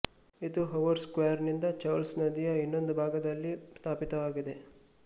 ಇದು Harvard Square ನಿಂದ Charles ನದಿಯ ಇನ್ನೊಂದು ಭಾಗದಲ್ಲಿ ಸ್ಥಾಪಿತವಾಗಿದೆ